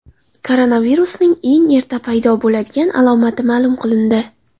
Koronavirusning eng erta paydo bo‘ladigan alomati ma’lum qilindi.